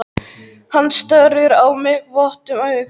Hann starir á mig votum augum.